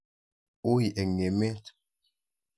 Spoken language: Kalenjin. Ui eng' emet.